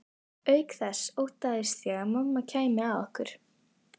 Auk þess óttaðist ég að mamma kæmi að okkur.